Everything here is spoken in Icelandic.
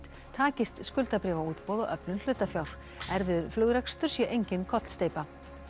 takist skuldabréfaútboð og öflun hlutafjár erfiður flugrekstur sé engin kollsteypa